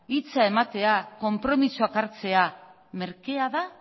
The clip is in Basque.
hitza ematea konpromisoak hartzea merkea da